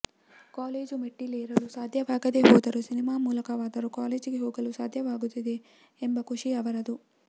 college ಮೆಟ್ಟಿಲೇರಲು ಸಾಧ್ಯವಾಗದೆ ಹೋದರೂ ಸಿನಿಮಾ ಮೂಲಕವಾದರೂ ಕಾಲೇಜಿಗೆ ಹೋಗಲು ಸಾಧ್ಯವಾಗುತ್ತಿದೆ ಎಂಬ ಖುಷಿ ಅವರದು